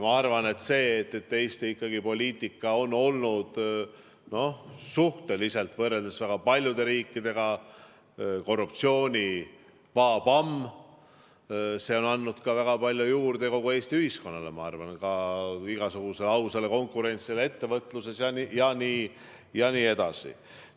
Ma arvan, et see, et Eesti poliitika on olnud suhteliselt, võrreldes väga paljude riikidega, ikkagi korruptsioonivabam, on andnud väga palju juurde kogu Eesti ühiskonnale, igasugusele ausale konkurentsile ettevõtluses jne.